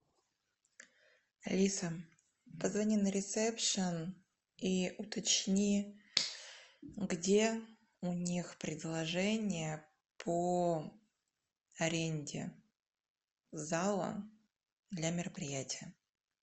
алиса позвони на ресепшен и уточни где у них предложения по аренде зала для мероприятия